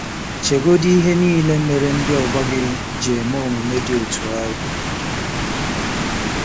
Chegodị ihe niile mere ndị ọgbọ gị ji eme omume dị otú ahụ.